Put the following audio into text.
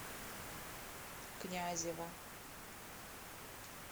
князева